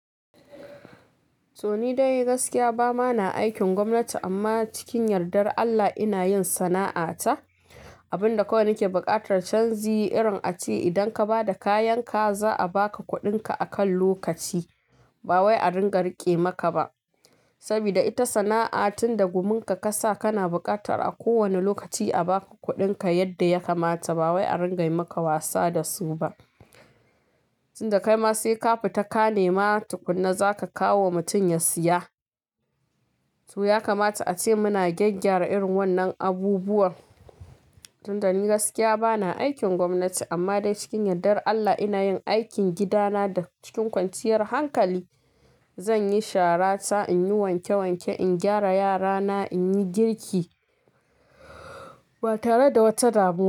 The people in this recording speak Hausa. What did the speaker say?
To ni dai gaskiya bamana aikin gwamnati amma cikin yardar Allah ina yin sana'a ta, abin da kowai nake buƙatar canji irin a ce idan ka ba da kayanka za a baka kuɗinka a kan lokaci. Ba wai a ringa riƙe maka ba. Sabida ita sana'a tin da guminka ka sa kana buƙatar a kowane lokaci a baka kuɗinka yadda ya kamata. Ba wai a ringa yi maka wasa da su ba. Tun da kai ma sai ka fita ka nema tukunna zaka kawo wa mutum ya siya. To ya kamata ace muna gyaggyara irin wannan abubuwan. Tun da ni gaskiya bana aikin gwamnati amma dai cikin yardar Allah ina yin aikin gidana da cikin kwanciyar hankali. Zanyi shara ta in yi wanke wanke, in gyara yarana, in yi girki ba tare da wata damu.